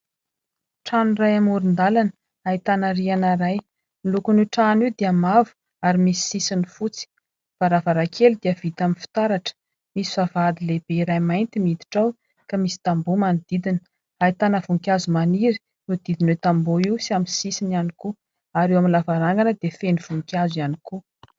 Trano iray amoron-dalana ahitana rihana iray, ny lokon'io trano io dia mavo ary misy sisiny fotsy. Ny varavarankely dia vita amin'ny fitaratra ; misy vavahady lehibe iray mainty miditra ao, ka misy tamboho manodidina. Ahitana voninkazo maniry, voadidin'io tamboho io sy amin'ny sisiny ihany koa. Ary eo amin'ny lavarangana dia feno voninkazo ihany koa.